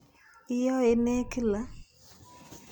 Iyoe ne kila?